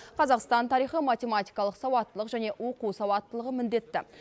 қазақстан тарихы математикалық сауаттылық және оқу сауаттылығы міндетті